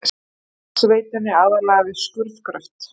Rafmagnsveitunni, aðallega við skurðgröft.